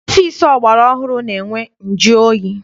Ọfịịsi ọgbara ọhụrụ na-enwe njụoyi.